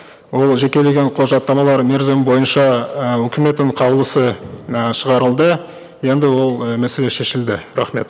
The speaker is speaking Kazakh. ол жекелеген құжаттамалар мерзімі бойынша і үкіметтің қаулысы і шығарылды енді ол і мәселе шешілді рахмет